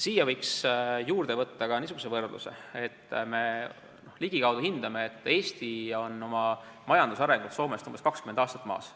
Siia võiks juurde võtta ka niisuguse võrdluse, et ligikaudse hinnangu järgi on Eesti oma majandusarengus Soomest umbes 20 aastat maas.